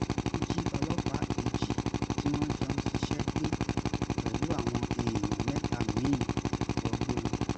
wọ́n jí ọlọ́pàá kejì tí wọ́n jọ ń ṣiṣẹ́ gbé pẹ̀lú àwọn èèyàn mẹ́ta mí-ín wọgbó lọ